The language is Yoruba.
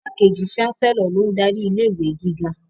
Igbákejì Chancellor lo n darí ilé-ìwé gíga